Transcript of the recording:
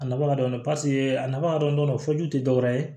A nafa ka dɔgɔn paseke a nafa ka dɔn fojugu tɛ dɔwɛrɛ ye